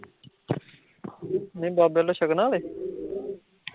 ਨੀ ਬਾਬੇ ਵੱਲੋਂ, ਛਕਣਾ ਹਾਲੇ?